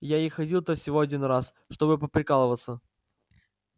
я и ходил-то всего один раз чтобы поприкалываться